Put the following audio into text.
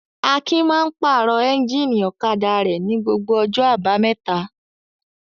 Akin máa ń pàrọ̀ ẹ́ńjínì ọ̀kadà rẹ̀ ní gbogbo ọjọ́ àbámẹ́ta.